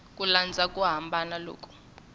ku landza ku hambana loku